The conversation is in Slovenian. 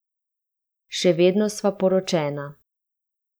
Še vedno sva poročena.